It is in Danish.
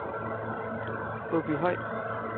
Åbyhøj